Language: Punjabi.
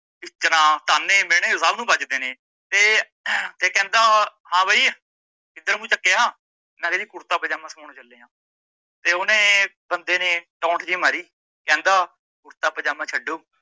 ਟਿੱਚਰਾਂ ਤਾਨੇ ਮੀਣੇ ਸੱਭ ਨੂੰ ਬਜਦੇ ਨੇ, ਤੇ ਤੇ ਕਹਿੰਦਾ ਹਾਂ ਬਈ ਕਿੱਦਰ ਮੂੰਹ ਚੱਕਿਆ, ਮੈ ਕਿਹਾ ਜੀ ਕੁਰਤਾ ਪਜਾਮਾਂ ਸਿਮੋਣ ਚਲੇ ਆਂ ਤੇ ਓਨੇ ਬੰਦੇ ਨੇ ਟੋਂਟ ਜੀ ਮਾਰੀ ਕਹਿੰਦਾ ਕੁਰਤਾ ਪਜਾਮਾਂ ਛੱਡੋ